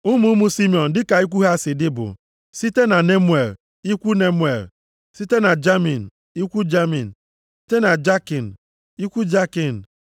Ụmụ ụmụ Simiọn dịka ikwu ha si dị bụ, site na Nemuel, ikwu Nemuel, site na Jamin, ikwu Jamin, site na Jakin, ikwu Jakin,